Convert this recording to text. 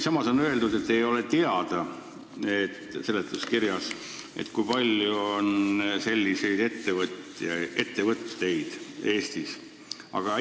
Samas on seletuskirjas öeldud, et ei ole teada, kui palju selliseid ettevõtteid Eestis on.